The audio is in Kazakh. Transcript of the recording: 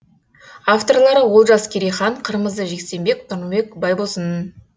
авторлары олжас керейхан қырмызы жексенбек нұрбек байбосын